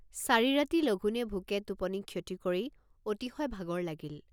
চাৰি ৰাতি লঘোণে ভোকে টোপনি ক্ষতি কৰি অতিশয় ভাগৰ লাগিল।